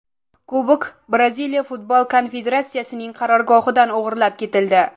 Kubok Braziliya futbol konfederatsiyasining qarorgohidan o‘g‘irlab ketildi.